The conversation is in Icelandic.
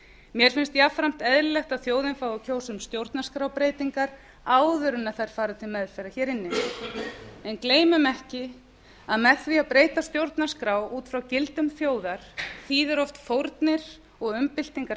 mér finnst jafnframt eðlilegt að þjóðin fái að kjósa um stjórnarskrárbreytingar áður en þær fara til meðferðar hér inni en gleymum ekki að með því að breyta stjórnarskrá út frá gildum þjóðar þýðir oft fórnir og umbyltingar